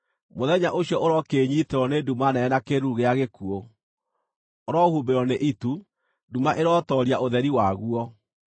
Mũthenya ũcio ũrokĩĩnyiitĩrwo nĩ nduma nene na kĩĩruru gĩa gĩkuũ; ũrohumbĩrwo nĩ itu; nduma ĩrotooria ũtheri waguo.